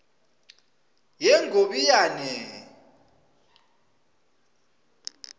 yengobiyane